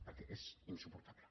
perquè és insuportable